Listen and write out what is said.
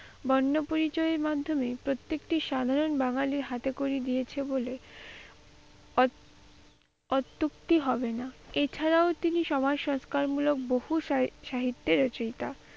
বর্ণপরিচয় এর মাধ্যমে প্রত্যেকটি সাধারণ বাঙালির হাতেখড়ি দিয়েছে বলে অত্যুক্তি হবে না। এছাড়াও তিনি সমাজ সংস্কারমূলক বহু সাহিত্যের রচিইতা।